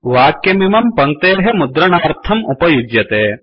वाक्यमिमं पङ्क्तेः मुद्रणार्थम् उपयुज्यते